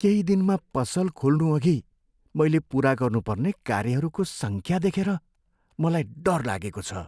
केही दिनमा पसल खोल्नुअघि मैले पुरा गर्नुपर्ने कार्यहरूको सङ्ख्या देखेर मलाई डर लागेको छ।